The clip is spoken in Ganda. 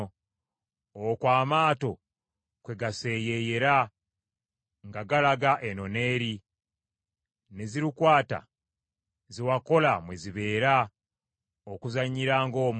Okwo amaato kwe gaseeyeeyera nga galaga eno n’eri; ne galukwata ge wakola mwe gabeera okuzannyiranga omwo.